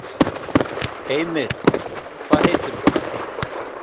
Heimir: Hvað heitirðu?